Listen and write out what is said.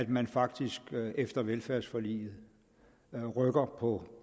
man faktisk efter velfærdsforliget rykker på